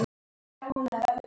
Við munum alltaf sakna hans.